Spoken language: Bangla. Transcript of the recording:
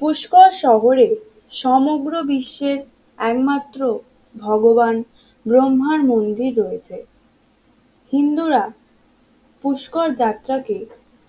পুষ্কর শহরে সমগ্র বিশ্বের একমাত্র ভগবান ব্রহ্মার মন্দির রয়েছে হিন্দুরা পুষ্কর যাত্রা কে